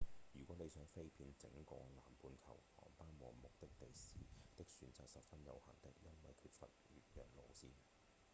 如果你想飛遍整個南半球航班和目的地的選擇十分有限的因為缺乏越洋路線